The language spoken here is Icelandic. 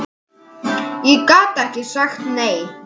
Ég gat ekki sagt nei.